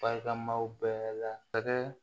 Barikamaw bɛɛ lakɛ